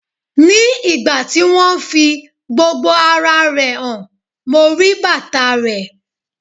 Ní ìgbà tí wón fi gbogbo ara rẹ̀ hàn, mo rí bàtà reẹ̀.